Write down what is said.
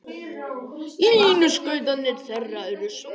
Línuskautarnir þeirra eru svartir.